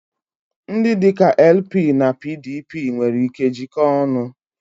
Ndị dị ka LP na PDP nwere ike jikoo ọnu.